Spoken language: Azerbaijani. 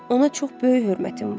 Ona çox böyük hörmətim var.